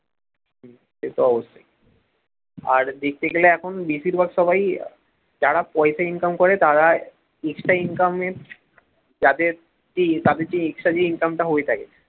সে তো অবশ্যই আর দেখতে গেলে এখন বেশিরভাগ সবাই যারা পয়সা income করে তারা extra income এর যাদের সেই তাদের যে extra Income টা হয়ে থাকে